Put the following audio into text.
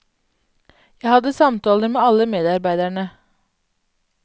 Jeg hadde samtaler med alle medarbeiderne.